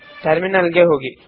terminal ಗೆ ಹೋಗಿ